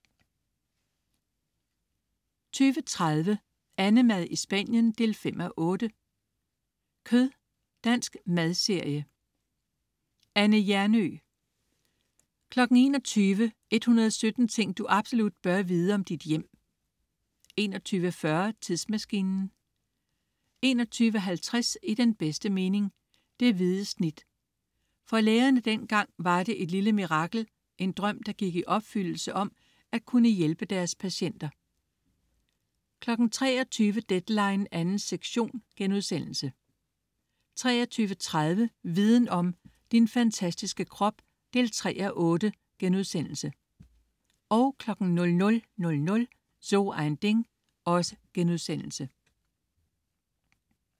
20.30 AnneMad i Spanien 5:8. Kød. Dansk madserie. Anne Hjernøe 21.00 117 ting du absolut bør vide om dit hjem 21.40 Tidsmaskinen 21.50 I den bedste mening: Det hvide snit. For lægerne dengang var det et lille mirakel, en drøm der gik i opfyldelse, om at kunne hjælpe deres patienter 23.00 Deadline 2. sektion* 23.30 Viden om: Din fantastiske krop 3:8* 00.00 So ein Ding*